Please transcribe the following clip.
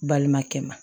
Balimakɛ ma